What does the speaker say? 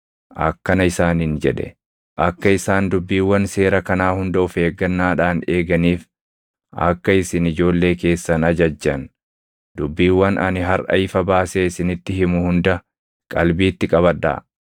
akkana isaaniin jedhe; “Akka isaan dubbiiwwan seera kanaa hunda of eeggannaadhaan eeganiif akka isin ijoollee keessan ajajjan, dubbiiwwan ani harʼa ifa baasee isinitti himu hunda qalbiitti qabadhaa.